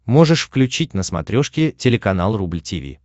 можешь включить на смотрешке телеканал рубль ти ви